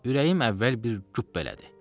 Ürəyim əvvəl bir güp elədi.